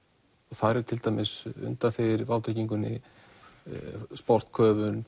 þar er til dæmis undanþegið í vátryggingunni